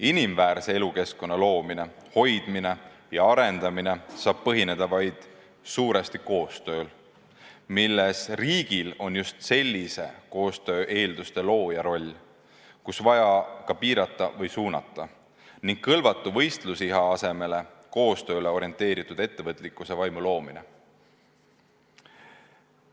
Inimväärse elukeskkonna loomine, hoidmine ja arendamine saab põhineda suuresti vaid koostööl, milles riigil on just sellise koostöö eelduste looja roll, kus on vaja ka piirata või suunata, ning kõlvatu võistlusiha asemele koostööle orienteeritud ettevõtlikkuse vaimu loomisel.